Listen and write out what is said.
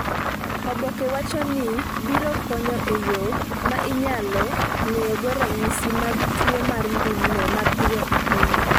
oboke wacho ni biro konyo e yo ma inyalo ng’eyogo ranyisi mag tuo mar ndulme mapiyo ahinya.